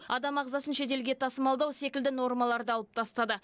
адам ағзасын шетелге тасымалдау секілді нормаларды алып тастады